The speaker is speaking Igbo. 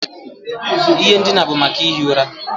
Ihe ndina bụ maka ihi ụra.